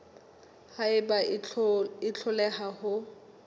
ha eba o hloleha ho